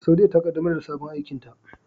Saudiyya ta kaddamar da sabon aikinta.